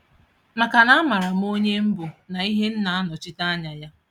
Maka na a maara m onye m bụ na ihe m na-anọchite Anya ya